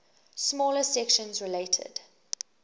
smaller sections related